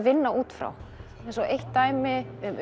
vinna út frá eins og eitt dæmi um